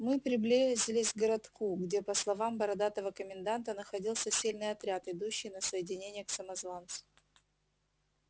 мы приближились к городку где по словам бородатого коменданта находился сильный отряд идущий на соединение к самозванцу